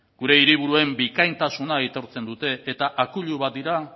gure hiriburuen bikaintasuna aitortzen dute eta akuilu bat dira